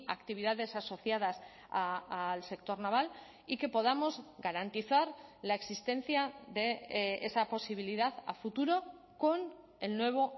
actividades asociadas al sector naval y que podamos garantizar la existencia de esa posibilidad a futuro con el nuevo